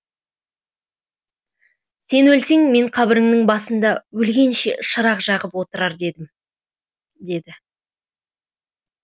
сен өлсең мен қабіріңнін басында өлгенше шырақ жағып отырар едім деді